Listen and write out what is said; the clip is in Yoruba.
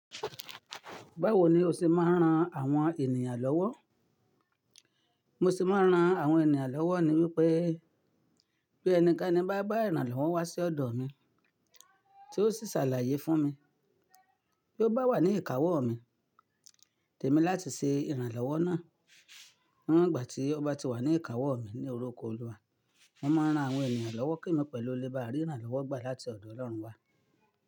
Báwo ni o ṣé máa ń ran àwọn ènìyàn lọ́wọ́? Mo ṣé máa ń ran àwọn ènìyàn lọ́wọ́ ni wípé bí ẹni kan bá bá ìrànlọ́wọ́ wá sí ọ̀dọ̀ mi tí ó sì ṣàlàyé fún mi tí ó bá wà ní ìkáwọ́ mi, tèmi láti ṣe ìrànlọ́wọ́ náà. Níwon gba tí ó bá ti wà ní ìkáwọ́ mi ní orúkọ Olúwa, mo máa ń ran àwọn ènìyàn lọ́wọ́ kemi pẹ̀lú olè bá rí ìrànlọ́wọ́ gbà láti ọ̀dọ̀ Ọlọ́run wá.